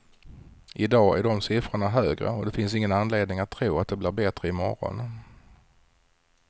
I dag är de siffrorna högre och det finns ingen anledning att tro att det blir bättre i morgon.